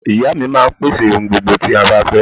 Ìya mi máa n pèsè ohun gbogbo tí a bá fẹ́